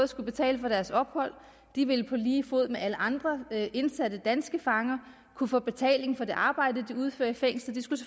skulle betale for deres ophold og de vil på lige fod med alle andre indsatte danske fanger kunne få betaling for det arbejde de udfører i fængslet